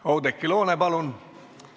Oudekki Loone, palun!